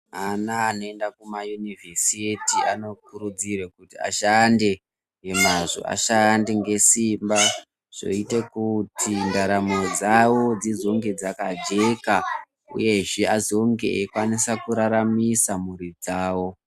Ana anoenda kumayunivhesiti anokurudzirwe kuti ashande ngemwazvo ashande ngesimba zvoita kuti ndaramo dzawo dzizonge dzakajeka . Uyezve azonge eikwanisa kuraramisa mphuri dzawo.